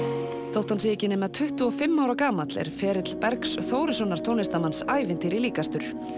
þótt hann sé ekki nema tuttugu og fimm ára gamall er ferill Bergs Þórissonar tónlistarmanns ævintýri líkastur